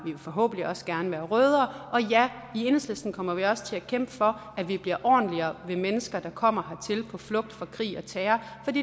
og forhåbentlig også gerne være rødere og ja i enhedslisten kommer vi også til at kæmpe for at vi bliver ordentligere ved mennesker der kommer hertil på flugt fra krig og terror